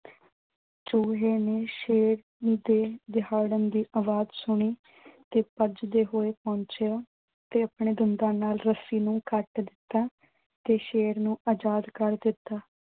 ਚੂਹੇ ਨੇ ਸ਼ੇਰ ਦੇ ਦਹਾੜਨ ਦੀ ਆਵਾਜ਼ ਸੁਣੀ ਤੇ ਭੱਜਦੇ ਹੋਏ ਪਹੁੰਚਿਆ ਤੇ ਆਪਣੇ ਦੰਦਾਂ ਨਾਲ ਰੱਸੀ ਨੂੰ ਕੱਟ ਦਿੱਤਾ ਤੇ ਸ਼ੇਰ ਨੂੰ ਆਜ਼ਾਦ ਕਰ ਦਿੱਤਾ।